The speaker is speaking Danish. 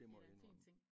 Det da en fin ting